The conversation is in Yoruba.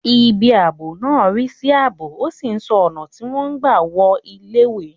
Ibi ààbò náà ń rí sí ààbò, ó sì ń ṣọ́ ọ̀nà tí wọ́n ń gbà wọ iléèwé